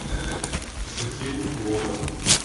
сухим логом